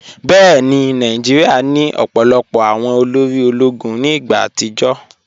Bẹẹni, Nàìjíríà ni ọ̀pọ̀lọpọ̀ awọn òlórí òló̩gún ní igba àtìjọ́.